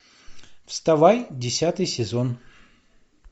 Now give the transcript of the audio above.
вставай десятый сезон